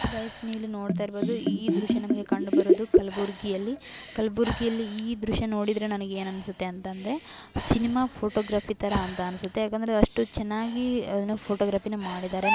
Guys ನೀವಿಲ್ಲಿ ನೋಡ್ತಾ ಇರ್ಬಹುದು ಈ ದೃಶ್ಯ ನಮಗೆ ಕಂಡು ಬರೋದು ಕಲ್ಬುರ್ಗಿಯಲ್ಲಿ ಕಲಬುರ್ಗಿಯಲ್ಲಿ ಈ ದೃಶ್ಯ ನೋಡಿದ್ರೆ ನನಗೆ ಏನು ಅನ್ಸುತ್ತೆ ಅಂದ್ರೆ ಸಿನಿಮಾ ಫೋಟೋಗ್ರಫಿ ತರ ಅಂತ ಅನ್ಸುತ್ತೆ ಯಾಕಂದ್ರೆ ಅಷ್ಟು ಚೆನ್ನಾಗಿ ಫೋಟೋಗ್ರಫಿ ಅನ್ನ ಮಾಡಿದಾರೆ .